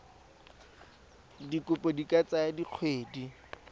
dikopo di ka tsaya dikgwedi